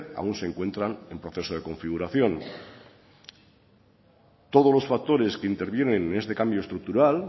aún se encuentran en proceso de configuración todos los factores que intervienen en este cambio estructural